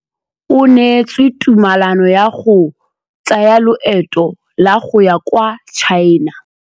O neetswe tumalanô ya go tsaya loetô la go ya kwa China.